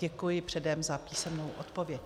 Děkuji předem za písemnou odpověď.